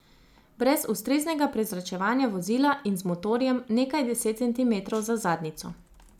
Brez ustreznega prezračevanja vozila in z motorjem, nekaj deset centimetrov za zadnjico.